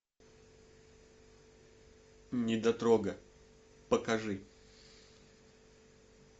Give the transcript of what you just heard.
недотрога покажи